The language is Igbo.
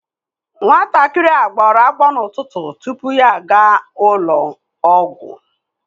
Nwatakịrị a gbara agbọ n'ụtụtụ tupu ya aga ụlọ ọgwụ